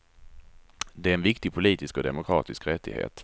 Det är en viktig politisk och demokratisk rättighet.